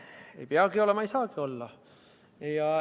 Ei peagi olema, ei saagi olla.